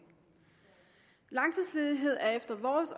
langtidsledighed er efter vores